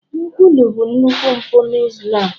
nkwulu bụ nnukwu mpụ na Islam